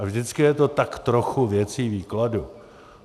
A vždycky je to tak trochu věcí výkladu.